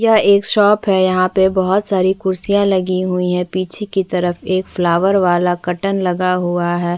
यह एक शॉप है यहाँ पे बोहत सारी खुर्सीया लगी हुई हैं पीछे की तरफ एक फ्लॉवर वाला कर्टन लगा हुआ है।